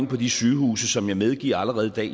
på de sygehuse som jeg medgiver allerede i dag